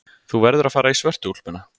Þú verður að fara í svörtu úlpuna.